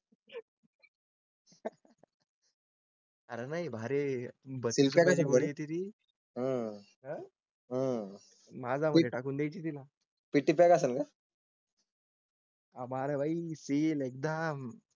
अर नई भारी बळी तिथे आह आह माझा मध्ये टाकून द्यायची दिला पीटी पैका. आभार भाई सील एकदम.